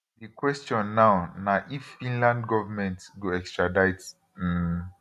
di kwestion now na if finland govment go extradite um